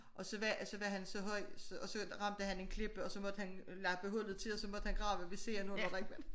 Og så var så var han så høj og så ramte han en klippe og så måtte han lappe hullet til og så måtte han grave ved siden af hvor der ikke var